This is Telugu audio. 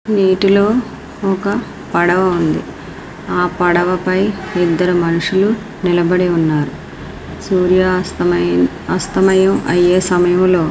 నీటిలో ఒక పడవ ఉంది. ఆ పడవ పై ఇద్దరూ మనుషులు నిలబడి ఉన్నారు. సూర్యాస్తమయం అస్తమయం అయే సమయంలో--